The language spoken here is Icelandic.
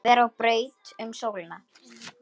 vera á braut um sólina